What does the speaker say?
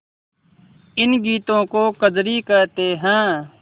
इन गीतों को कजरी कहते हैं